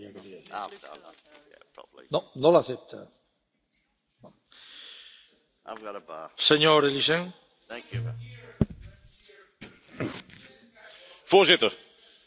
Voorzitter, de ontwerpbegroting 2019 staat weer vol van peperdure eurofiele ambities, die achteraf vaak onrealistisch, risicovol en soms zelfs op bedrog gebaseerd blijken te zijn.